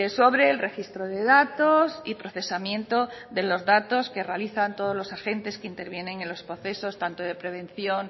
sobre el registro de datos y procesamiento de datos que realizan todos los agentes que intervienen en los procesos tanto de prevención